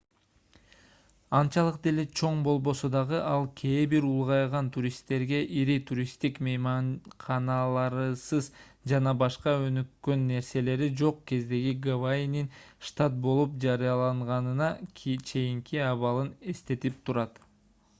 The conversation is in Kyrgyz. анчалык деле чоң болбосо дагы ал кээ бир улгайган туристтерге ири туристтик мейманканаларысыз жана башка өнүккөн нерселери жок кездеги гавайинин штат болуп жарыяланганына чейинки абалын эстетип турат